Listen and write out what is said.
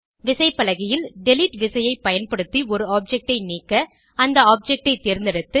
விசைப்பலகையில் டிலீட் விசையை பயன்படுத்தி ஒரு ஆப்ஜெக்ட் ஐ நீக்க அந்த ஆப்ஜெக்ட் ஐ தேர்ந்தெடுத்து